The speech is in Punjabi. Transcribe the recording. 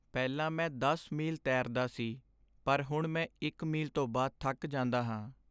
ਪਹਿਲਾਂ ਮੈਂ ਦਸ ਮੀਲ ਤੈਰਦਾ ਸੀ ਪਰ ਹੁਣ ਮੈਂ ਇੱਕ ਮੀਲ ਤੋਂ ਬਾਅਦ ਥੱਕ ਜਾਂਦਾ ਹਾਂ